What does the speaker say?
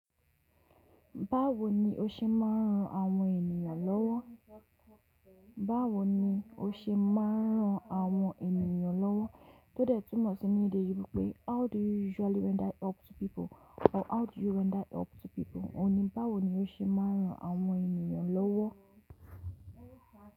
Báwo ni o ṣe máa ń ran àwọn ènìyàn lọ́wọ́? Báwo ni o ṣe máa ń ran àwọn ènìyàn lọ́wọ́ tó dẹ̀ túmọ̀ sí ní èdè igbó pé how do you usually render help to people or how do you render help to people? Òun ni báwo ni o ṣe máa ń ran àwọn ènìyàn lọ́wọ́